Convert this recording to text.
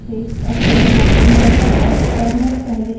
output streams terminal पर स्वतः से text अक्षरों को print करता है